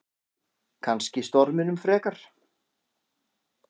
Kannski storminum frekar.